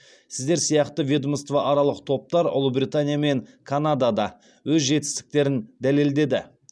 сіздер сияқты ведомствоаралық топтар ұлыбритания мен канадада өз жетістіктерін дәлелдеді